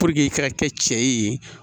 i ka kɛ cɛ ye